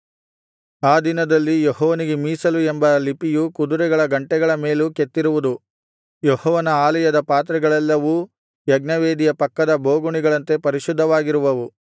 ಆ ದಿನದಲ್ಲಿ ಯೆಹೋವನಿಗೆ ಮೀಸಲು ಎಂಬ ಲಿಪಿಯು ಕುದುರೆಗಳ ಘಂಟೆಗಳ ಮೇಲೂ ಕೆತ್ತಿರುವುದು ಯೆಹೋವನ ಆಲಯದ ಪಾತ್ರೆಗಳೆಲ್ಲವೂ ಯಜ್ಞವೇದಿಯ ಪಕ್ಕದ ಬೋಗುಣಿಗಳಂತೆ ಪರಿಶುದ್ಧವಾಗಿರುವವು